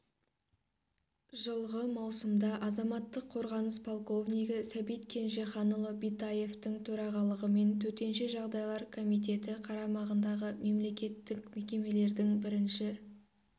жылғы маусымда азаматтық қорғаныс полковнигі сәбит кенжеханұлы битаевтің төрағалығымен төтенше жағдайлар комитеті қарамағындағы мемлекеттік мекемелердің бірінші